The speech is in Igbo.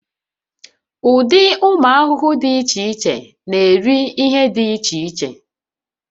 Ụdị ụmụ ahụhụ dị iche iche na-eri ihe dị iche iche